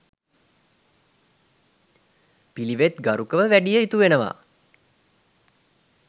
පිළිවෙත් ගරුකව වැඩිය යුතු වෙනවා